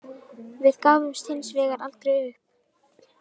Við gáfumst hins vegar aldrei upp